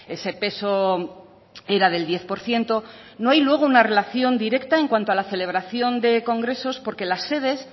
ese peso era del diez por ciento no hay luego una relación directa en cuanto a la celebración de congresos porque las sedes